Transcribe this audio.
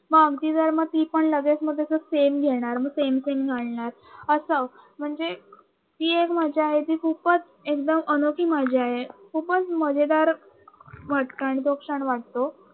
हा ती पण मग लगेच तसं सेम घेणार मग सेम सेम घालणार असं म्हणज ती एक माझी आजी खूपच एकदम अनोखी मजा आहे खूपच मजेदार तो क्षण वाटतो